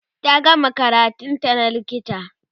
ta gama karatun ta na likita